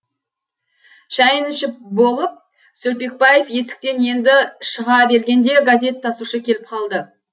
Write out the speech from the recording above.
шайын ішіп болып сөлпекбаев есіктен енді шыға бергенде газет тасушы келіп қалды